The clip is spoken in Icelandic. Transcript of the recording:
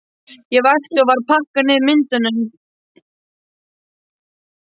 Ég vakti og var að pakka niður myndunum.